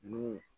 N'u